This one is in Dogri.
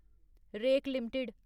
rake limited